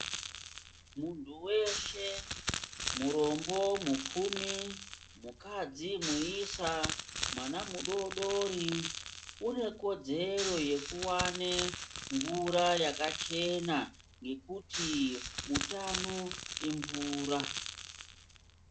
Munthu weshe, murombo, mupfumi, mukadzi, muisa, mwana mudoodori, une kodzero yekuwane mvura yakachena, ngekuti utano, imvura.